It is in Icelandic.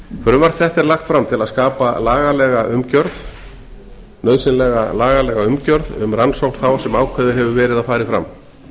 frumvarp þetta er lagt fram til að skapa nauðsynlega lagalega umgerð um rannsókn þá sem ákveðið hefur verið að fari fram